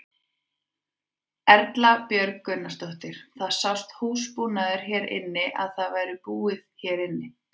Erla Björg Gunnarsdóttir: Það sást húsbúnaður hérna inni að það væri búið hérna inni?